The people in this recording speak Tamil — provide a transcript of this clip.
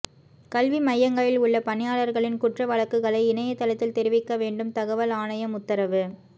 கல்வி மையங்களில் உள்ள பணியாளர்களின் குற்ற வழக்குகளை இணையதளத்தில் தெரிவிக்க வேண்டும் தகவல் ஆணையம் உத்தரவு